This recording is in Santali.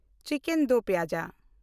chicken do pyaza